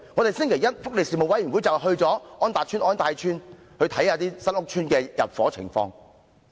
福利事務委員會星期一會前往安達邨和安泰邨，視察新屋邨入伙情況。